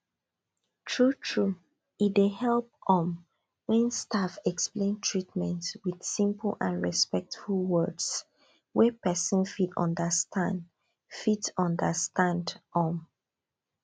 truetrue e dey help um when staff explain treatment with simple and respectful words wey person fit understand fit understand um